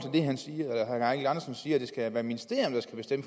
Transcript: det skal være ministerierne der skal bestemme